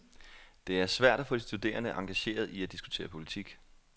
Det er svært at få de studerende engageret i at diskutere politik.